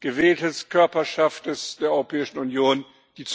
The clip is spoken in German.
gewählte Körperschaft der Europäischen Union seine